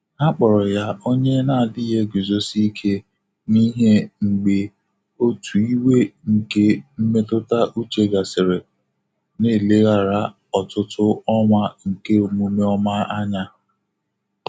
Há kpọ̀rọ̀ yá ọ́nyé nà-ádị́ghị́ égùzòsí íké n’íhé mgbè òtù ìwé nké mmétụ́tà úchè gàsị́rị̀, nà-élèghàrà ọ́tụ́tụ́ ọ́nwá nké ọ́mụ́mé ọ́mà ányá.